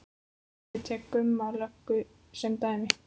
Ég tek Gumma löggu sem dæmi.